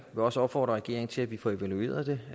også opfordre regeringen til at vi får evalueret det